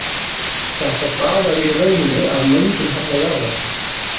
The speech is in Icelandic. Þetta stafar í rauninni af möndulhalla jarðar.